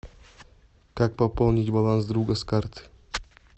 как пополнить баланс друга с карты